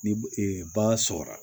Ni ba sɔrɔla